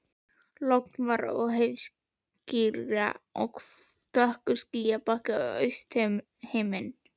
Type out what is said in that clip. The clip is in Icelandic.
Logn var og heiðríkja en dökkur skýjabakki á austurhimni.